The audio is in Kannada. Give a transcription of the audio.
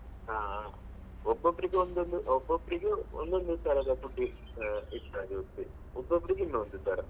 ಹ ಹ ಒಬ್ಬೊಬ್ರಿಗೆ ಒಂದೊಂದು ಒಬ್ಬೊಬ್ರಿಗೆ ಒಂದೊಂದು ತರದ food ಇಷ್ಟ ಆಗಿ ಒಬ್ಬೊಬ್ರಿಗೆ ಇನ್ನೊಂದು ತರ.